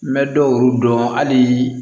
N bɛ dɔw dɔn hali